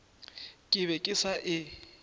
ke be ke sa e